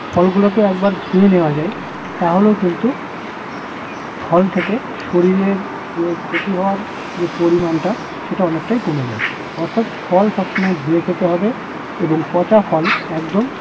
ফলগুলোকে একবার ধুয়ে নেওয়া যায় তাহলেও কিন্তু ফল থেকে শরীরের যে ক্ষতি হওয়ার যে পরিমাণটা সেটা অনেকটাই কমে যায়। অর্থাৎ ফল সবসময় ধুয়ে খেতে হবে। এবং পচা ফল একদম